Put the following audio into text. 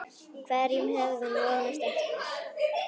Hverjum hafði hún vonast eftir?